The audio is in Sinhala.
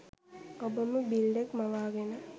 ඔබම බිල්ලෙක් මවාගෙන